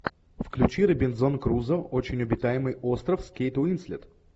включи робинзон крузо очень обитаемый остров с кейт уинслет